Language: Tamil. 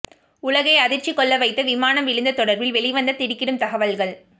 உலகை அதிர்ச்சி கொள்ளவைத்த விமானம் விழுந்து தொடர்பில் வெளிவந்த திடுக்கிடும் தகவல்கள்